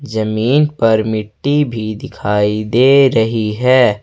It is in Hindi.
जमीन पर मिट्टी भी दिखाई दे रही है।